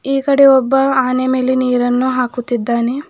ಈ ಕಡೆ ಒಬ್ಬ ಆನೆ ಮೇಲೆ ನೀರನ್ನು ಹಾಕುತ್ತಿದ್ದಾನೆ.